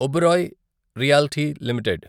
Oberoi Realty limited